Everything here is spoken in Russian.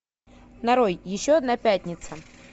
нарой еще одна пятница